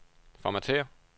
formatér